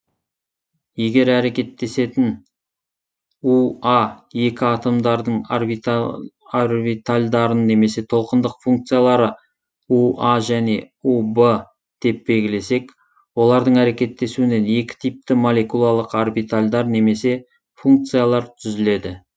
егер әрекеттесетін у а екі атомдардың орбитальдарын немесе толқындық функциялары у а және у в деп белгілесек олардың әрекеттесуінен екі типті молекулалық орбитальдар немесе функциялар түзіледі